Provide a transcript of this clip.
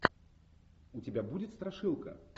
у тебя будет страшилка